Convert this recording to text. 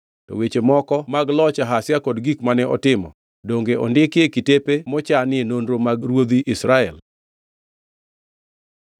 To weche moko mag loch Ahazia kod gik mane otimo, donge ondikgi e kitepe mochanie nonro mag ruodhi Israel?